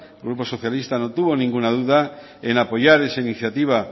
el grupo socialista no tuvo ninguna duda en apoyar esa iniciativa